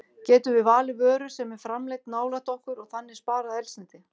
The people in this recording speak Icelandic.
Getum við valið vöru sem er framleidd nálægt okkur og þannig sparað eldsneyti?